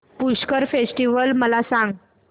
Pushkar festival मला सांग